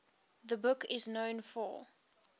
the book is known for